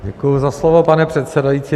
Děkuji za slovo, pane předsedající.